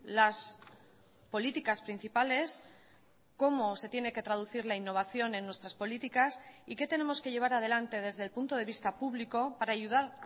las políticas principales cómo se tiene que traducir la innovación en nuestras políticas y qué tenemos que llevar adelante desde el punto de vista público para ayudar